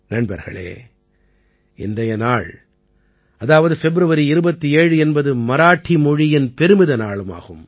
நண்பர்களே இன்றைய நாள் அதாவது பெப்ருவரி 27 என்பது மராத்தி மொழியின் பெருமித நாளும் ஆகும்